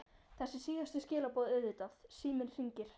Þessi síðustu skilaboð auðvitað- Síminn hringir.